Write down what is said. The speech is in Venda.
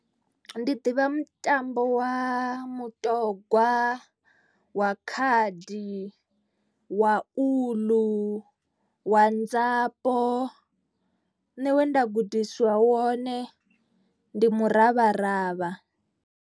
Ndi ḓivha mutambo wa mutogwa, wa khadi wa uḽu, wa nzapo. Nṋe wenda gudisiwa wone ndi muravharavha.